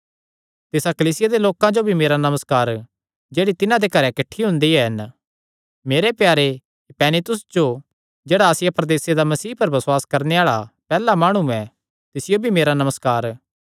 तिसा कलीसिया दे लोकां जो भी मेरा नमस्कार जेह्ड़ी तिन्हां दे घरे किठ्ठे हुंदे हन मेरे प्यारे इपैनितुस जो जेह्ड़ा आसिया प्रदेसे दा मसीह पर बसुआस करणे आल़ा दा पैहल्ला माणु ऐ तिसियो भी मेरा नमस्कार